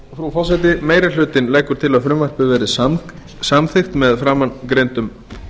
frú forseti meiri hlutinn leggur til að frumvarpið verði samþykkt með framangreindum